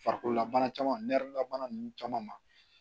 Farikololabana caman labana ninnu caman ma